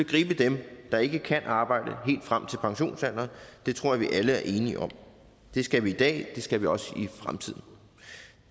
gribe dem der ikke kan arbejde helt frem til pensionsalderen og det tror jeg vi alle er enige om det skal vi i dag og det skal vi også i fremtiden